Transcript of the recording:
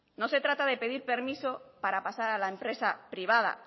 no se trata de pedir permiso para pasar a la empresa privada